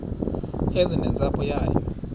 eze nentsapho yayo